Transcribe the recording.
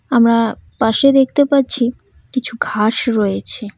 আমরা পাশে দেখতে পাচ্ছি কিছু ঘাস রয়েছে।